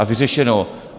A vyřešeno.